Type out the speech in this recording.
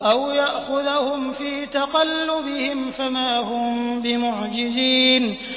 أَوْ يَأْخُذَهُمْ فِي تَقَلُّبِهِمْ فَمَا هُم بِمُعْجِزِينَ